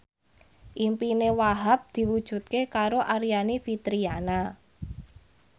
impine Wahhab diwujudke karo Aryani Fitriana